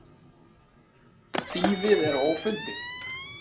Þýfið er ófundið.